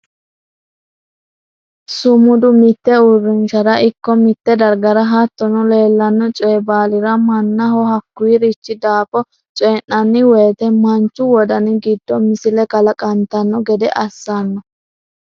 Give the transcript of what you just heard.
sumudu mitte uurrinshara ikko mitte dagara hattono leellanno coyi baalira mannaho hakkuyiirichi daafo coyii'nanni woyiite manchu wodani giddo misile kalaqantanno gede assanno.